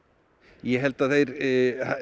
ég held að